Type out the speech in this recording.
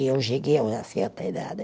E eu cheguei a uma certa idade.